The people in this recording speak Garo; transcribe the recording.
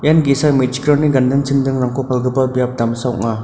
ian ge·sa me·chikrangni ganding chindingrangko palgipa biap damsa ong·a.